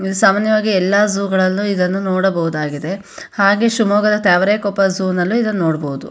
ಇದು ಸಾಮಾನ್ಯವಾಗಿ ಎಲ್ಲಾ ಝೋವ್ ಗಳಲ್ಲು ಇದನ್ನು ನೋಡಬಹುದಾಗಿದೆ ಹಾಗೆ ಶಿಮೊಗ್ಗದ ತಾವರೆಕೊಪ್ಪ ಝೋವ್ ನಲ್ಲು ನೋಡಬಹುದು.